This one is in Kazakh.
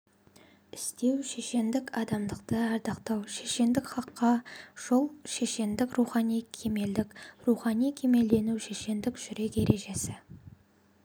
істеу шешендік адамдықты ардақтау шешендік хаққа жол шешендік рухани кемелдік рухани кемелдену шешендік жүрек ережесі